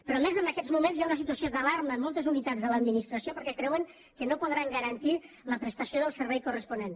però a més en aquests moments hi ha una situació d’alarma en moltes unitats de l’administració perquè creuen que no podran garantir la prestació del servei corresponent